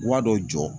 Wari dɔ jɔ